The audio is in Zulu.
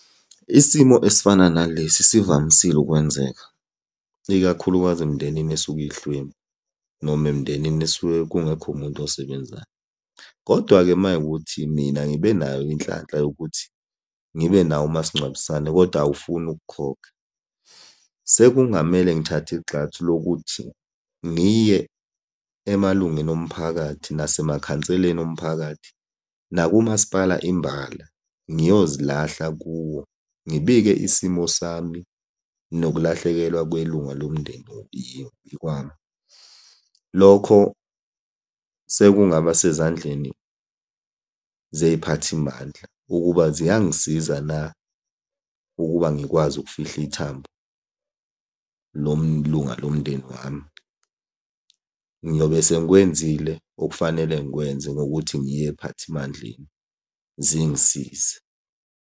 Isimo esifana nalesi sivamisile ukwenzeka, ikakhulukazi emindenini esuke ihlwempu, noma emindenini esuke kungekho muntu osebenzayo, kodwa-ke uma kuyikuthi mina ngibe nayo inhlanhla yokuthi ngibe nawo umasingcwabisane kodwa awufuni ukukhokha. Sekungamele ngithathe igxathu lokuthi ngiye emalungeni omphakathi nasemakhanseleni omphakathi, nakumasipala imbala, ngiyozilahla kuwo. Ngibike isimo sami nokulahlekelwa kwelunga lomndeni kwami. Lokho sekungaba sezandleni zey'phathimandla ukuba ziyangisiza na ukuba ngikwazi ukufihla ithambo lomlunga lomndeni wami. Ngiyobe sengikwenzile okufanele ngikwenze ngokuthi ngiye ey'phathimandleni zingisize.